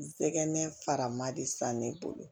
N sɛgɛn fara ma de san ne bolo